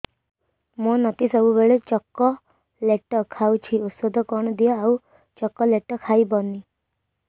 ମୋ ନାତି ସବୁବେଳେ ଚକଲେଟ ଖାଉଛି ଔଷଧ କଣ ଦିଅ ଆଉ ଚକଲେଟ ଖାଇବନି